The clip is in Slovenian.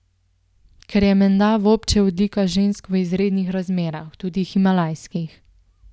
Kar je menda vobče odlika žensk v izrednih razmerah, tudi himalajskih.